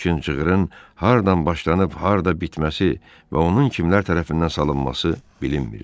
Lakin cığırın hardan başlanıb harda bitməsi və onun kimlər tərəfindən salınması bilinmirdi.